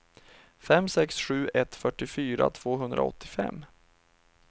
fem sex sju ett fyrtiofyra tvåhundraåttiofem